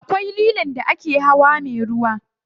Akwai lilon da ake hawa me ruwa.